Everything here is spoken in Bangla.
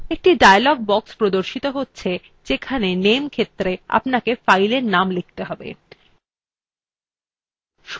একটি dialog box প্রদর্শিত হচ্ছে যেখানে name ক্ষেত্রa আপনাকে fileএর name লিখতে হবে